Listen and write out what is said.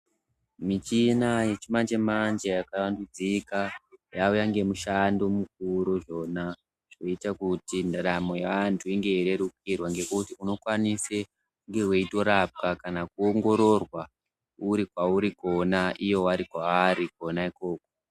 Michina yechimanje manje yakavandudzika yauya nemushando mukuru yona yoita kuti vantu ndaramo yevantu inge yeyirerukirwa ngekuti unenge weikwanise kunge weitorapwa kana kunoongororwa uri kwauri kona ivo vange vari kwavari kuno ikoko.